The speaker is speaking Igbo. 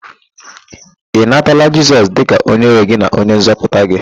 Ị natala Jisọs dịka onyenwe gị na onyenzọpụta gị?